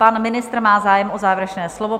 Pan ministr má zájem o závěrečné slovo.